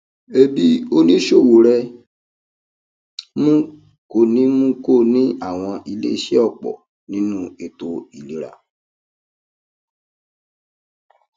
ẹmí oníṣòwò rẹ mú kó ní mú kó ní àwọn iléiṣẹ ọpọ nínú ètò ìlera